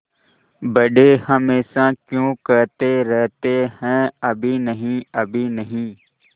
बड़े हमेशा क्यों कहते रहते हैं अभी नहीं अभी नहीं